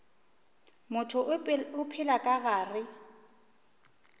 motho o phela ka gare